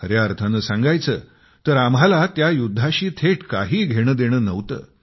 खर्या अर्थाने सांगायचं तर आम्हाला त्या युद्धाशी थेट काही देणे घेणे नव्हते